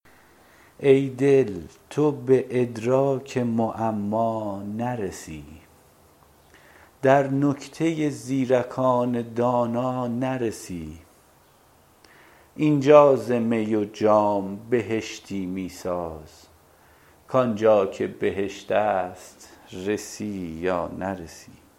ای دل تو به ادراک معما نرسی در نکته زیرکان دانا نرسی اینجا ز می و جام بهشتی می ساز کآن جا که بهشت است رسی یا نرسی